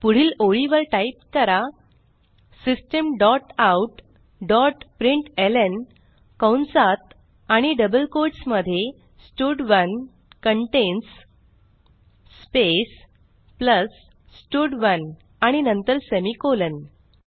पुढील ओळीवर टाईप करा system dot out dot println कंसात आणि डबल कोट्स मध्ये स्टड1 कंटेन्स स्पेस प्लस स्टड1 आणि नंतर सेमिकोलॉन